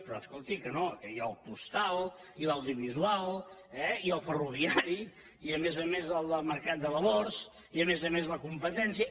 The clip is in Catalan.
però escolti que no que hi ha el postal i l’audiovisual eh i el ferroviari i a més a més el de mercat de valors i a més a més la compe·tència